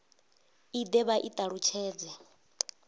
i de vha i talutshedze